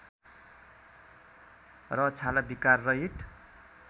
र छाला विकार रहित